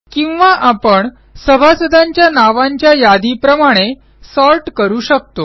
किंवा आपण सभासदांच्या नावांच्या यादीप्रमाणे सॉर्ट करू शकतो